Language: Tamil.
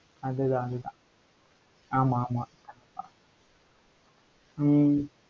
அதுதான், அதுதான் ஆமா ஆமா ஹம்